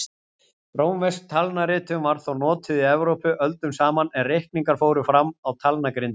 Rómversk talnaritun var þó notuð í Evrópu öldum saman en reikningar fóru fram á talnagrindum.